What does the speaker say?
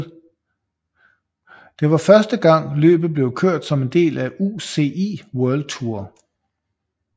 Det var første gang løbet blev kørt som en del af UCI World Tour